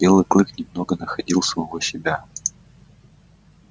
белый клык немного находил самого себя